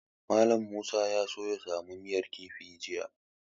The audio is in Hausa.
Mallam Musa ya so ya samu miyar kifi jiya.